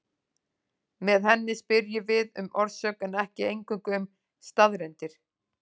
Með henni spyrjum við um orsök en ekki eingöngu um staðreyndir.